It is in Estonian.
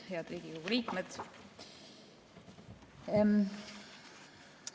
Head Riigikogu liikmed!